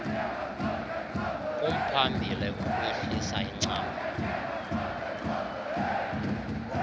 kumphambili ukwehlisa incam